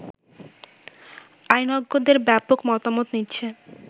আইনজ্ঞদের ব্যাপক মতামত নিচ্ছে